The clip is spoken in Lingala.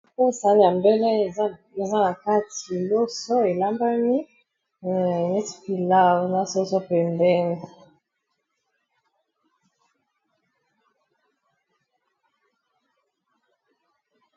OYO sani ya mbele eza na kati loso elambami eh neti pilaw na soso pembeni.